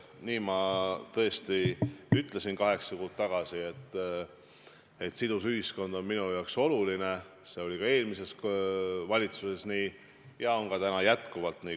Nii ma tõesti ütlesin kaheksa kuud tagasi, et sidus ühiskond on mulle oluline, see oli eelmises valitsuses nii ja on ka täna jätkuvalt nii.